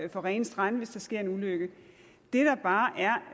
rene strande hvis der sker en ulykke det der bare